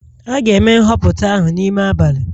A ga-eme nhọpụta ahụ n'ime abalị